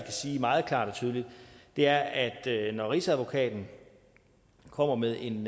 sige meget klart og tydeligt er at når rigsadvokaten kommer med en